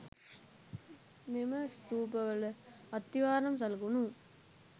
මෙම ස්තූපවල අත්තිවාරම් සලකුණු